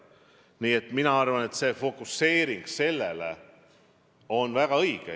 Nii et mina arvan, et see fokuseering on väga õige.